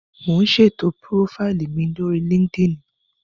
Mò ún ṣètò púrófáìlì mi lórí líkídíìnì